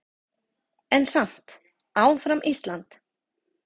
En samt áfram Ísland!